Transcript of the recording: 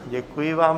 Děkuji vám.